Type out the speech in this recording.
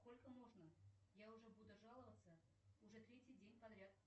сколько можно я уже буду жаловаться уже третий день подряд